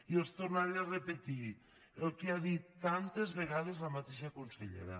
i els tornaré a repetir el que ha dit tantes vegades la mateixa consellera